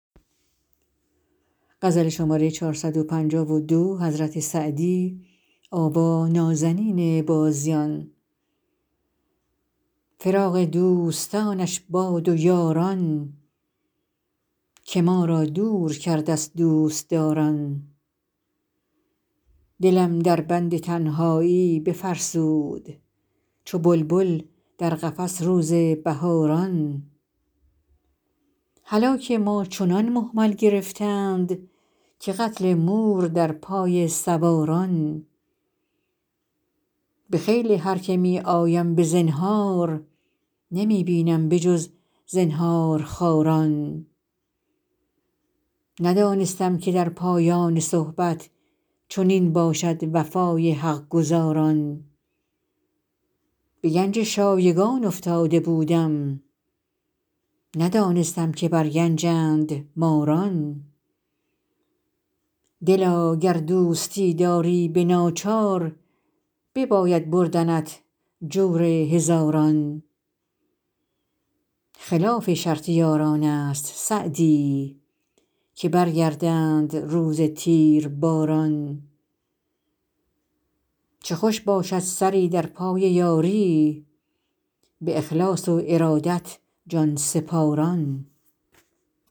فراق دوستانش باد و یاران که ما را دور کرد از دوستداران دلم در بند تنهایی بفرسود چو بلبل در قفس روز بهاران هلاک ما چنان مهمل گرفتند که قتل مور در پای سواران به خیل هر که می آیم به زنهار نمی بینم به جز زنهارخواران ندانستم که در پایان صحبت چنین باشد وفای حق گزاران به گنج شایگان افتاده بودم ندانستم که بر گنجند ماران دلا گر دوستی داری به ناچار بباید بردنت جور هزاران خلاف شرط یاران است سعدی که برگردند روز تیرباران چه خوش باشد سری در پای یاری به اخلاص و ارادت جان سپاران